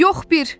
Yox bir.